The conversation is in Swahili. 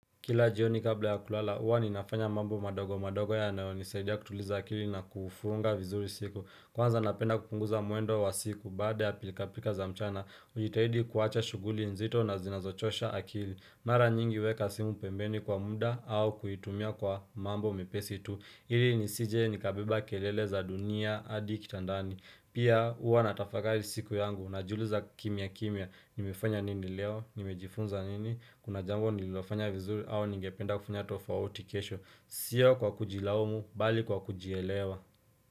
Kila jioni kabla ya kulala, huwa ninafanya mambo madogo madogo yanao nisaidia kutuliza akili na kufunga vizuri siku Kwanza napenda kupunguza muendo wa siku baada ya pilka pilka za mchana, ujitahidi kuwacha shuguli nzito na zinazochosha akili Mara nyingi huweka simu pembeni kwa muda au kuitumia kwa mambo mepesi tu ili ni sije nikabeba kelele za dunia adi kitandani Pia huwa natafakari siku yangu na jiuliza kimya kimya, nimefanya nini leo, nimejifunza nini Kuna jambo nililofanya vizuri au ningependa kufunya tofauti kesho Sio kwa kujilaumu, bali kwa kujielewa.